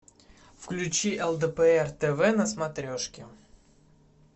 включи лдпр тв на смотрешке